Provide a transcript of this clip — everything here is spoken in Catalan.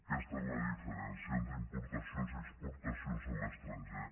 aquesta és la diferència entre importacions i exportacions a l’estranger